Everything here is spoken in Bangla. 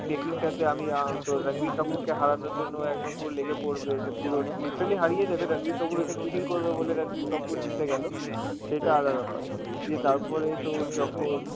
trekking টাতে আমি~ আ ও তোর রাণবির কাপুর কে হারানোর জন্য একদম পুরো লেগে পড়বে, তে পুরো~ literally হারিয়ে দেবে রাণবির কাপুর এ কে cheating করবে বলে রাণবির কাপুর জিতে গেল, সেটা আলাদা ব্যাপার. দিয়ে তারপরে তোর যখন